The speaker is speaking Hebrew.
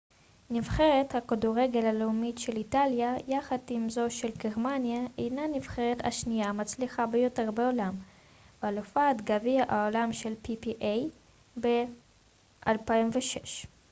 נבחרת הכדורגל הלאומית של איטליה יחד עם זו של גרמניה הינה הנבחרת השנייה המצליחה ביותר בעולם ואלופת גביע העולם של פיפ א ב-2006